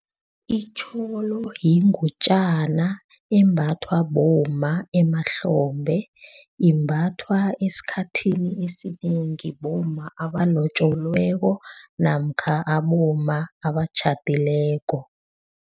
Itjholo yingutjana embathwa bomma emahlombe. Imbathwa esikhathini esinengi bomma abalotjolweko namkha abomma abatjhadileko.